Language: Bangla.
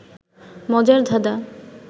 মজার ধাঁধাঁ